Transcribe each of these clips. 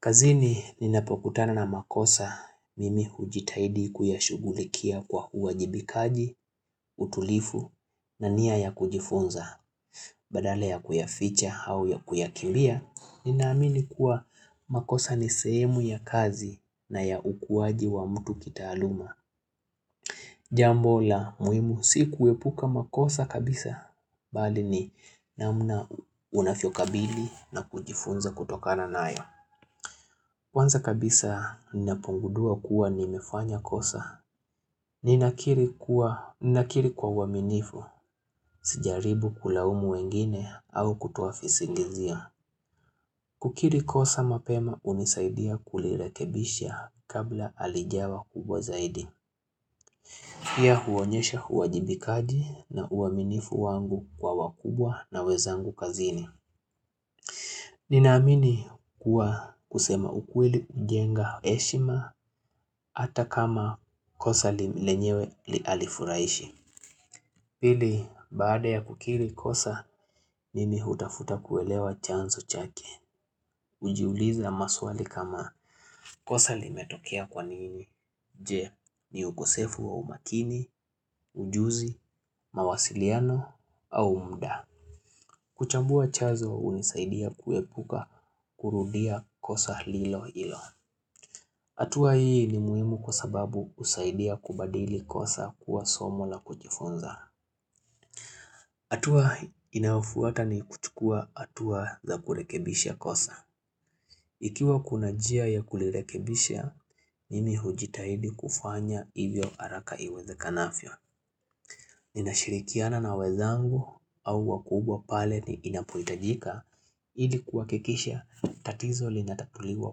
Kazini ninapokutana na makosa mimi hujitahidi kuyashugulikia kwa uwajibikaji, utulifu na niya ya kujifunza. Badala ya kuyaficha au ya kuyakimbia, ninamini kuwa makosa ni sehemu ya kazi na ya ukuwaji wa mtu kitaaluma. Jambo la muhimu si kuepuka makosa kabisa, bali ni namna unavyo kabili na kujifunza kutokana na ayo. Kwanza kabisa ninapogundua kuwa nimefanya kosa. Ninakiri kwa uaminifu sijaribu kulaumu wengine au kutuafisi ingizia. Kukiri kosa mapema hunisaidia kulirekebisha kabla halijawa kubwa zaidi. Pia huonyesha uwajibikaji na uaminifu wangu kwa wakubwa na wezangu kazini. Ninaamini kuwa kusema ukweli kujenga heshima hata kama kosa li lenyewe li alifuraishi. Pili baada ya kukiri kosa nini hutafuta kuelewa chanzo chake. Ujiuliza maswali kama kosa limetokia kwanini, je ni ukusefu wa umakini, ujuzi, mawasiliano au mda. Kuchambua chazo hunisaidia kuepuka kurudia kosa lilo hilo. Hatua hii ni muhimu kwa sababu usaidia kubadili kosa kuwa somo la kujifunza. Hatua inafuata ni kuchukua hatua za kurekebisha kosa. Ikiwa kuna jia ya kulirekebisha, mimi hujitahidi kufanya hivyo araka iweza kanafyo. Ninashirikiana na wezangu au wakubwa pale ni inapuitajika, ilikuwa kikisha tatizo linatatuliwa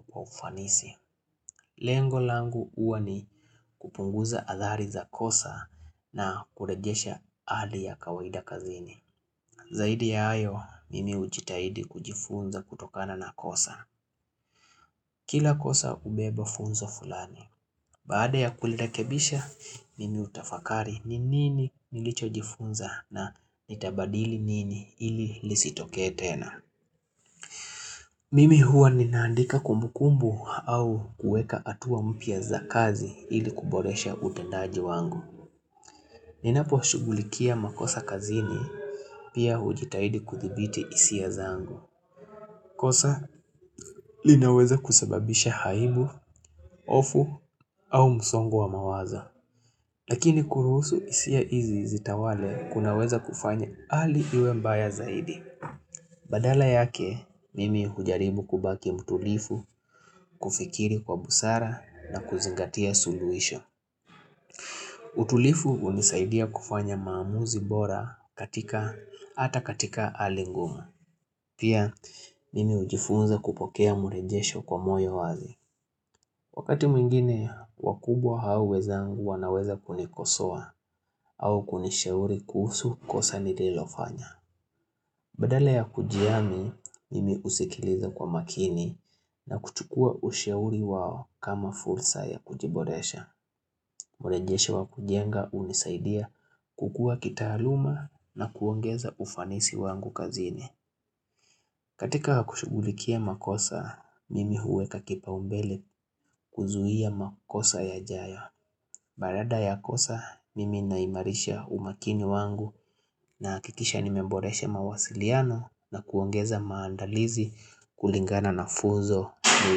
kwa ufanisi. Lengo langu uwa ni kupunguza athari za kosa na kurejesha hali ya kawaida kazini. Zaidi ya ayo, mimi hujitahidi kujifunza kutokana na kosa. Kila kosa hubeba funzo fulani. Baada ya kulirekebisha, nini utafakari ninini nilicho jifunza na nitabadili nini ili lisitoke tena. Mimi huwa ninaandika kumukumbu au kueka atuwa mpia za kazi ili kuboresha utendaji wangu. Ninapo shugulikia makosa kazini pia ujitahidi kuthibiti hisia zangu. Kosa linaweza kusababisha haibu, ofu au musongo wa mawaza Lakini kuruusu isia izi zita wale kunaweza kufanya ali iwe mbaya zaidi Badala yake mimi ujaribu kubaki mtulifu kufikiri kwa busara na kuzingatia suluisho utulifu unisaidia kufanya maamuzi bora katika ata katika hali ngumu Pia mimi ujifunza kupokea murejesho kwa moyo wazi Wakati mwingine, wakubwa haweza angu wanaweza kunikosua au kunisheuri kuhusu kosa nililofanya. Badala ya kujiami, mimi usikiliza kwa makini na kuchukua usheuri wao kama fursa ya kujiboresha. Mwolejeshe wa kujenga unisaidia kukua kitaaluma na kuongeza ufanisi wangu kazini. Katika kushugulikia makosa, mimi huwe kakipa umbele kuzuhia makosa ya jayo. Barada ya kosa, mimi naimarisha umakini wangu na kikisha nimemboreshe mawasiliano na kuongeza maandalizi kulingana na funzo ni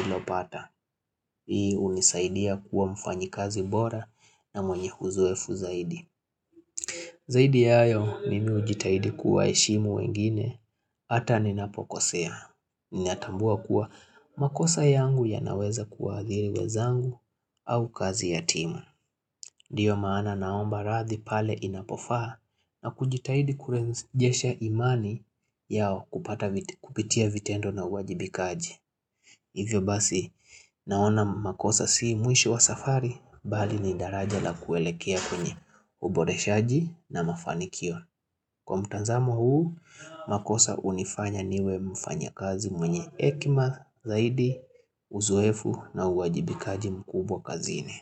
ilopata. Hii unisaidia kuwa mfanyi kazi bora na mwenye uzoefu zaidi. Zaidi ya yo, mimi ujitahidi kuwa eshimu wengine, ata ni napokosea. Ni atambua kuwa makosa yangu ya naweza kuwaadhiri wezangu au kazi ya timu Diyo maana naomba rathi pale inapofaa na kujitahidi kurenjesha imani yao kupitia vitendo na uwajibikaji Hivyo basi naona makosa si mwisho wa safari bali ni daraja la kuelekea kwenye uboreshaji na mafanikio Kwa mtanzamo huu, makosa unifanya niwe mfanya kazi mwenye hekima zaidi, uzoefu na uwajibikaji mkubwa kazini.